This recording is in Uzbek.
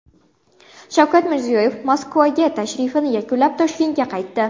Shavkat Mirziyoyev Moskvaga tashrifini yakunlab, Toshkentga qaytdi.